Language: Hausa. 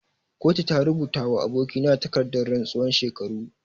Kotu ta rubuta wa aboki na takardan rantsuwan shekaru.